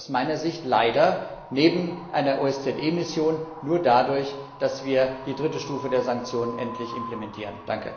Das geht aus meiner Sicht leider neben einer OSZE Mission nur dadurch, dass wir die dritte Stufe der Sanktionen endlich implementieren.